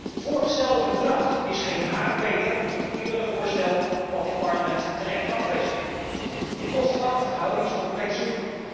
Het voorgestelde verdrag is geen haar beter dan het eerdere voorstel dat dit Parlement terecht afwees. De kosten batenverhouding is compleet zoek.